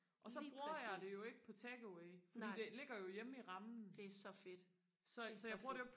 lige præcis nej det er så fedt det så fedt